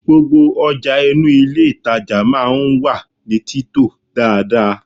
Gbogbo ọjà inú ilé ìtàjà máa ń wà ní títò dáadáa.